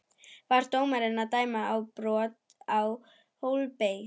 Var dómarinn að dæma brot Á Hólmbert?